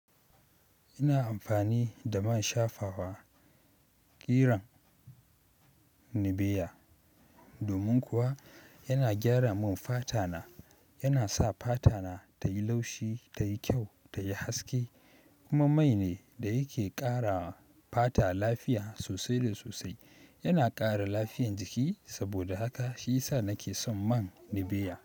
Ina amfani da man shafawa kiran Nivea domin kuwa yana gyara min fata na. Yana sa fata na tayi laushi, tayi kyau, tayi haske kuma mai ne da yake ƙara fata lafiya sosai da sosai. Yana ƙara lafiyan jiki saboda haka shi ya sa nake son man Nivea.